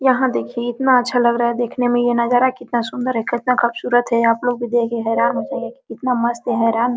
यहाँ देखिए इतना अच्छा लग रहा है देखने में ये नजारा कितना सुन्दर है कतना खूबसुरत हैआपलोग भी देख के हैरान हो जाइएगा इतना मस्त है | हैरान --